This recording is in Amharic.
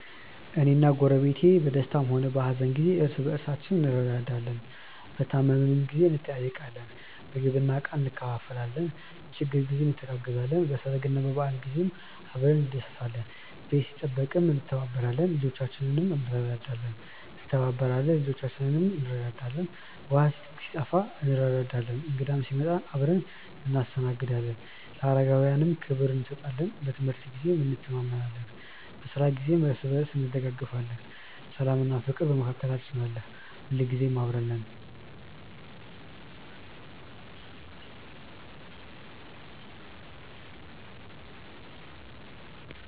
እኔና ጎረቤቴ በደስታም ሆነ በሀዘን ጊዜ እርስ በርሳችን እንረዳዳለን። በታመምን ጊዜ እንጠያየቃለን፣ ምግብና ዕቃ እንካፈላለን፣ በችግር ጊዜ እንተጋገዛለን፣ በሰርግና በበዓል ጊዜ አብረን እንደሰታለን። ቤት ሲጠበቅም እንተባበራለን፣ ልጆቻችንንም እንረዳዳለን። ውሃ ሲጠፋ እንረዳዳለን፣ እንግዳ ሲመጣም አብረን እናስተናግዳለን፣ ለአረጋውያንም ክብር እንሰጣለን። በትምህርት ጊዜም እንተማመናለን፣ በስራ ጊዜም እርስ በርስ እንደጋገፋለን። ሰላምና ፍቅርም በመካከላችን አለ። ሁልጊዜ አብረን ነን።።